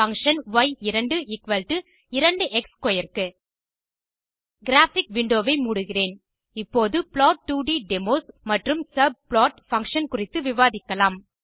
function y22x square க்கு graphic window ஐ மூடுகிறேன் இப்போது plot2ட் டெமோஸ் மற்றும் சப்ளாட் பங்ஷன் குறித்து விவாதிக்கலாம்